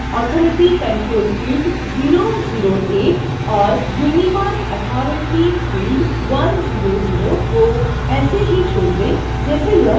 marcauthoritycontrolfield008 और unimarcauthorityfield100 को ऐसे ही छोड दें जैसे यह है